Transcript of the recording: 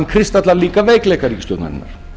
kristallast líka veikleikar ríkisstjórnarinnar